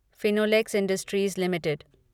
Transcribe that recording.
Finolex Industries limited